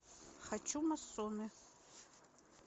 хочу массоны